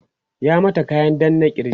ya mata kayan danna kirj?